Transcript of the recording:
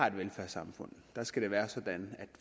et velfærdssamfund skal det være sådan